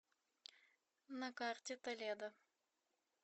на карте толедо